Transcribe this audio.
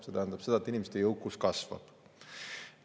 See tähendab seda, et inimeste jõukus kasvab.